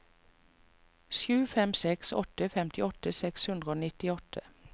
sju fem seks åtte femtiåtte seks hundre og nittiåtte